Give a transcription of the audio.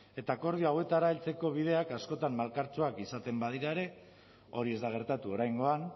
eta akordioetara heltzeko bideak askotan malkartsuak izaten badira ere hori ez da gertatu oraingoan